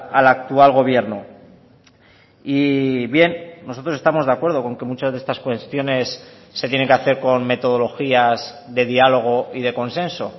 al actual gobierno y bien nosotros estamos de acuerdo con que muchas de estas cuestiones se tienen que hacer con metodologías de diálogo y de consenso